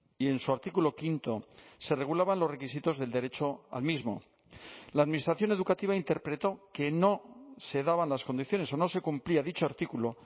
y en su artículo quinto se regulaban los requisitos del derecho al mismo la administración educativa interpretó que no se daban las condiciones o no se cumplía dicho artículo